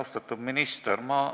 Austatud minister!